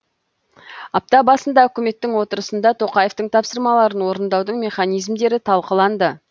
апта басында үкіметтің отырысында тоқаевтың тапсырмаларын орындаудың механизмдері талқыланды